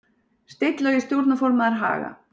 Steinn Logi stjórnarformaður Haga